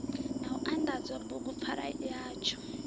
na u anḓadza bugupfarwa yatsho